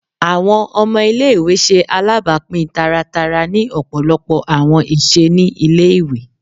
Awọn ọmọ ile-iwe ṣe alabapin taratara ni ọpọlọpọ awọn iṣe ni ile-iwe